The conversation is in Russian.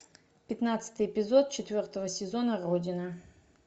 пятнадцатый эпизод четвертого сезона родина